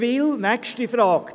Nächste Frage: